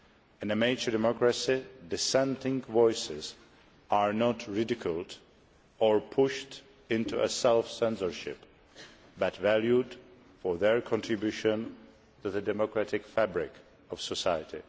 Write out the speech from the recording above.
In a mature democracy, dissenting voices are not ridiculed or pushed into self censorship, but valued for their contribution to the democratic fabric of society.